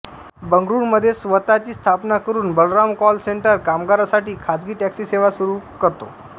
बंगळुरूमध्ये स्वत ची स्थापना करून बलराम कॉल सेंटर कामगारांसाठी खासगी टॅक्सी सेवा सुरू करतो